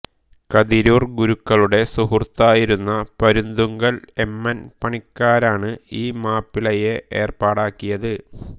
കതിരൂർ ഗുരുക്കളുടെ സുഹൃത്തായിരുന്ന പരുന്തുങ്കൽ എമ്മൻ പണിക്കരാണ് ഈ മാപ്പിളയെ ഏർപ്പാടാക്കിയത്